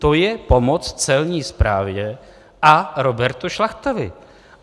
To je pomoc Celní správě a Robertu Šlachtovi.